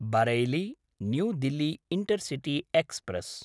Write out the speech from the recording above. Bareilly New Delhi intercity express